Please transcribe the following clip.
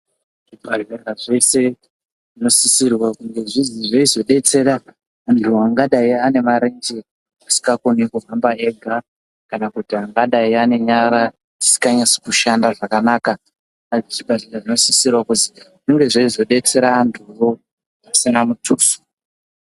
Zvipatara zvese zvinosisirwa kunge zveizodetsera vantu vangadai vane marenje asikakoni kuhamba ega kana kuti angadai anenyara dzisinganyasi kushanda zvakanaka. Zvipatara zvinosisirawo kuzi zvinge zveizo detsera antuwo zvisina mutuso.